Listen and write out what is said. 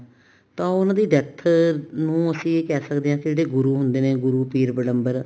ਤਾਂ ਉਹਨਾ ਦੀ death ਨੂੰ ਅਸੀਂ ਇਹ ਕਹਿ ਸਕਦੇ ਹਾਂ ਕੇ ਜਿਹੜੇ ਗੁਰੂ ਹੁੰਦੇ ਨੇ ਗੁਰੂ ਪੀਰ ਪੈਗੰਬਰ